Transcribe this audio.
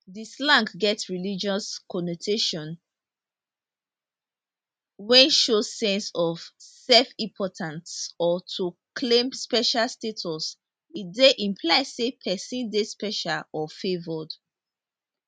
di slang get religious connotation wey show sense of selfimportance or to claim special status e dey imply say pesin dey special or favoured